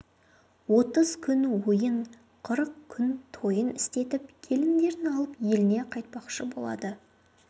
отыз күн ойын қырық күн тойын істетіп келіндерін алып еліне қайтпақшы болады